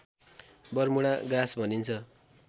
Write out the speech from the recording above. Bermuda grass भनिन्छ